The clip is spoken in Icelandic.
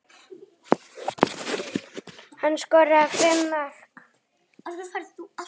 Hann skoraði fimm mörk.